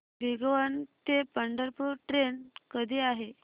भिगवण ते पंढरपूर ट्रेन कधी आहे